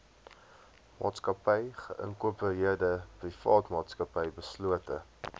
maatsakappy geïnkorpereerdeprivaatmaatsappy beslote